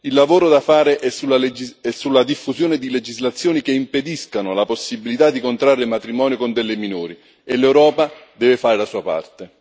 Il lavoro da fare è sulla diffusione di legislazioni che impediscano la possibilità di contrarre un matrimonio con delle minori e l'Europa deve fare la sua parte.